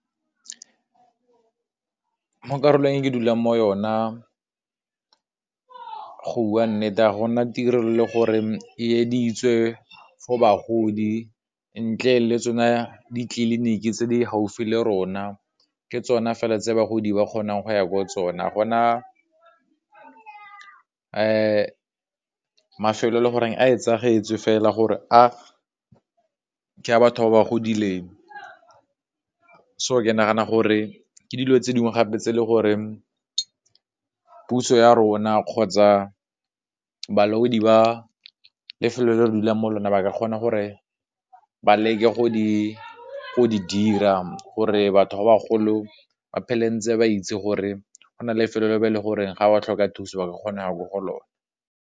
Mo karolong ke dulang mo yona go bua nnete, ga gona tirelo le gore e eleditswe for bagodi, ntle le tsona ditleliniki tse di gaufi le rona ke, tsona fela tse bagodi ba kgonang go ya ko tsona, gona mafelo e le goreng a e fela gore a ke a batho ba ba godileng, so ke nagana gore ke dilo tse dingwe gape tse e le gore puso ya rona kgotsa balaodi ba lefelo le re dulang mo lona, ba ka kgona gore ba leke go di di dira, gore batho ba ba golo ba phele ntse ba itse gore go na lefelo le ba e le gore ga ba tlhoka thuso ba ka kgona go lona.